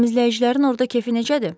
Təmizləyicilərin orda kefi necədir?